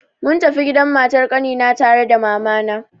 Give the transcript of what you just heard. Mun tafi gidan matar ƙanina tare da mamana.